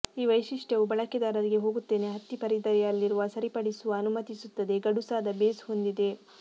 ಈ ವೈಶಿಷ್ಟ್ಯವು ಬಳಕೆದಾರರಿಗೆ ಹೋಗುತ್ತೇನೆ ಹತ್ತಿ ಪರಿಧಿಯಲ್ಲಿರುವ ಸರಿಪಡಿಸುವ ಅನುಮತಿಸುತ್ತದೆ ಗಡುಸಾದ ಬೇಸ್ ಹೊಂದಿದೆ